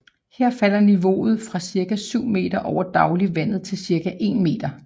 Her falder niveauet fra cirka 7 meter over dagligt vandet til cirka 1 meter